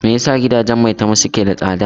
Me yasa gidajen Maitama suke da tsada?